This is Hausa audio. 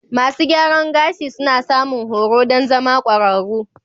Masu gyaran gashi suna samun horo don zama ƙwararru.